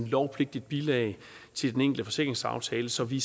lovpligtigt bilag til den enkelte forsikringsaftale så vi